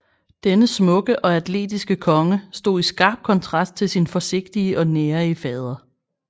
Den smukke og atletiske konge stod i skarp kontrast til sin forsigtige og nærige fader